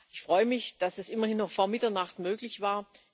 Ich freue mich, dass es immerhin noch vor Mitternacht möglich war.